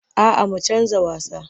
A'a mu canja wasa.